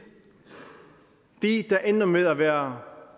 de der ender med at være